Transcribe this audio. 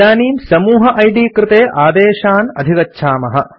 इदानीं समूह इद् कृते आदेशान् अधिगच्छामः